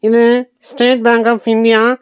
இது State Bank of India.